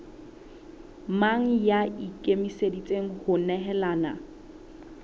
mang ya ikemiseditseng ho nehelana